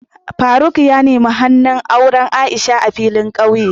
Faruk ya nemi hannu auren Aisha a filin ƙauye.